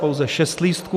Pouze šest lístků.